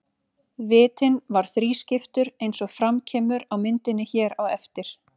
Vitinn var þrískiptur eins og fram kemur á myndinni hér á eftir.